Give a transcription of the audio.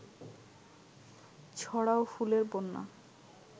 ছড়াও ফুলের বন্যা